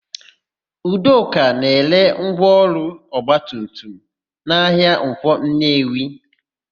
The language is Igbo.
Udoka na-ere ngwaọrụ ọgbatumtum na ahịa Nkwọ Nnewi.